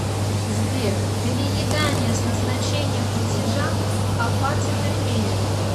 сбер переедания с назначение платежа апатиты тренинг